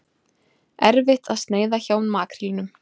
Erfitt að sneiða hjá makrílnum